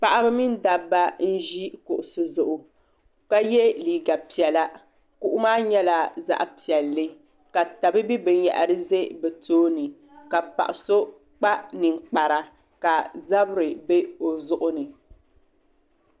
paɣaba mini dabba n-ʒi kuɣisi zuɣu ka ye liiga piɛla kuɣu maa nyɛla zaɣ' piɛlli ka tabibi binyɛhiri ʒe bɛ tooni ka paɣ' so kpa ninkpara ka zabiri be o zuɣu ni.